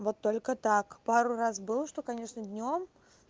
вот только так пару раз было что конечно днём